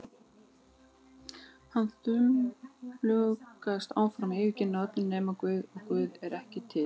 Hann þumlungast áfram, yfirgefinn af öllum nema Guði, og Guð er ekki til.